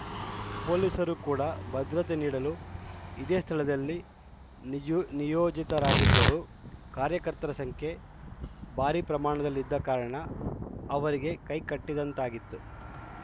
ಪೊಲೀಸರು ಕೂಡ ಭದ್ರತೆ ನೀಡಲು ಇದೇ ಸ್ಥಳದಲ್ಲಿ ನಿಯೋ ನಿಯೋಜಿತರಾಗಿದ್ದರೂ ಕಾರ್ಯಕರ್ತರ ಸಂಖ್ಯೆ ಭಾರಿ ಪ್ರಮಾಣದಲ್ಲಿ ಇದ್ದ ಕಾರಣ ಅವರಿಗೆ ಕೈ ಕಟ್ಟಿದಂತಾಗಿತ್ತು